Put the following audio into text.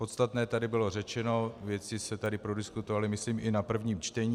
Podstatné tady bylo řečeno, věci se tady prodiskutovaly myslím i na prvním čtení.